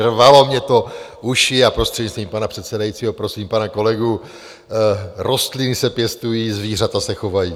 Rvalo mi to uši a prostřednictvím pana předsedajícího prosím pana kolegu - rostliny se pěstují, zvířata se chovají.